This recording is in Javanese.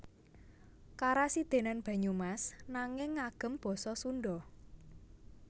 Karasidenan Banyumas nanging ngagem basa Sundha